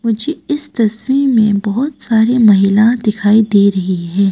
मुझे इस तस्वीर में बहोत सारी महिला दिखाई दे रही है।